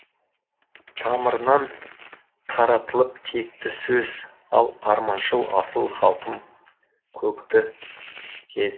тамырынан таратылып текті сөз ал арманшыл асыл халқым көкті кез